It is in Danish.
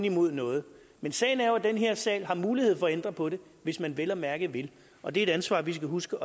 imod noget men sagen er jo den at den her sag har mulighed for at ændre på det hvis man vel at mærke vil og det er et ansvar vi skal huske